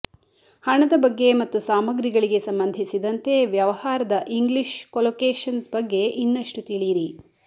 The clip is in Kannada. ಹಣದ ಬಗ್ಗೆ ಮತ್ತು ಸಾಮಗ್ರಿಗಳಿಗೆ ಸಂಬಂಧಿಸಿದಂತೆ ವ್ಯವಹಾರದ ಇಂಗ್ಲಿಷ್ ಕೊಲೊಕೇಶನ್ಸ್ ಬಗ್ಗೆ ಇನ್ನಷ್ಟು ತಿಳಿಯಿರಿ